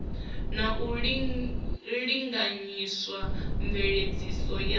na u linganyisa mveledziso ya